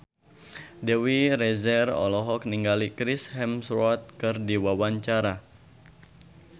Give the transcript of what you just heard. Dewi Rezer olohok ningali Chris Hemsworth keur diwawancara